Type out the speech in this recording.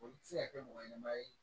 O tɛ se ka kɛ mɔgɔ ɲɛnɛma ye